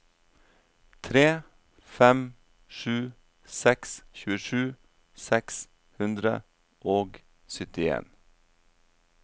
tre fem sju seks tjuesju seks hundre og syttien